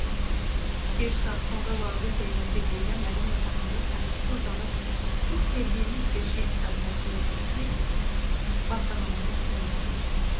Bir saat sonra Laurita ilə birlikdə mənim yatağımda sakitcə uzanıb çox sevdiyimiz beşlik kitabını oxuyurduq ki, Bağdan anamın fəryadı eşidildi.